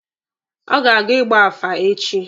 Ọ ga-aga ịgba afa echi.